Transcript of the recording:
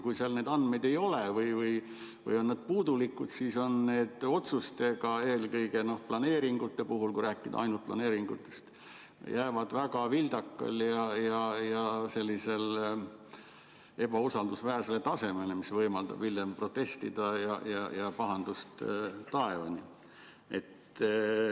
Kui seal neid andmeid ei ole või need on puudulikud, siis need otsused eelkõige planeeringute puhul, kui rääkida ainult planeeringutest, jäävad väga vildakale ja ebausaldusväärsele tasemele, mis võimaldab hiljem protestida ja pahandus on taevani.